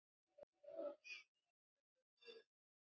Hrunið gæti átt við